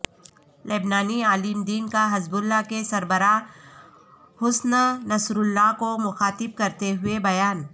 لبنانی عالم دین کاحزب اللہ کے سربراہ حسن نصراللہ کو مخاطب کرتے ہوئے بیان